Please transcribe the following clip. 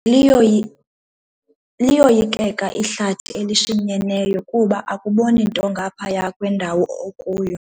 Liyoyikeka ihlathi elishinyeneyo kuba akuboni nto ngaphaya kwendawo okuyo.